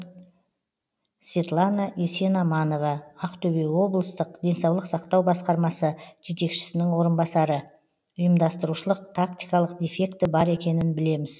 светлана есенаманова ақтөбе облыстық денсаулық сақтау басқармасы жетекшісінің орынбасары ұйымдастырушылық тактикалық дефекті бар екенін білеміз